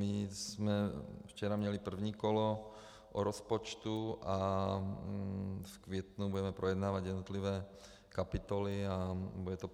My jsem včera měli první kolo o rozpočtu a v květnu budeme projednávat jednotlivé kapitoly a bude to